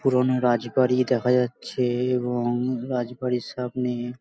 পুরোনো রাজবাড়ি দেখা যাচ্ছে-এ এবং রাজবাড়ির সামনে --